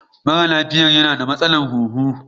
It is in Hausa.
Mara lafiya yana da matsalar huhu.